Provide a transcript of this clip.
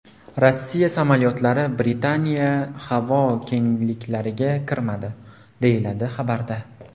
Rossiya samolyotlari Britaniya havo kengliklariga kirmadi”, deyiladi xabarda.